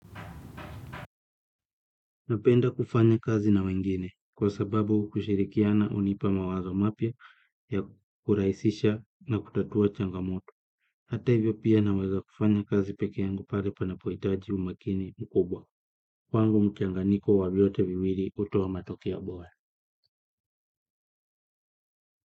Napenda kufanya kazi na wengine kwa sababu kushirikiana hunipa mawazo mapya ya kurahisisha na kutatua changamoto. Hata hivyo pia naweza kufanya kazi peke yangu pale panapohitaji umakini mkubwa. Kwangu mchanganyiko wa vyote viwili hutoa matokeo bora.